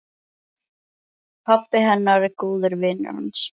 Pabbi hennar er góður vinur hans.